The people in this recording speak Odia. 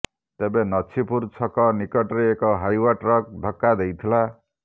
ତେବେ ନଛିପୁର ଛକ ନିକଟରେ ଏକ ହାଇୱା ଟ୍ରକ୍ ଧକ୍କା ଦେଇଥିଲା